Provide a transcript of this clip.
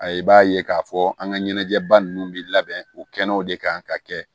A i b'a ye k'a fɔ an ka ɲɛnajɛba ninnu bi labɛn u kɛnɛw de kan ka kɛ